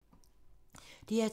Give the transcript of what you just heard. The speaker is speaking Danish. DR2